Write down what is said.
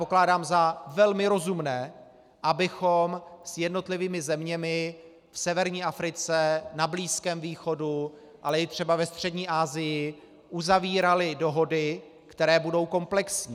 Pokládám za velmi rozumné, abychom s jednotlivými zeměmi v severní Africe, na Blízkém východu, ale i třeba ve Střední Asii uzavírali dohody, které budou komplexní.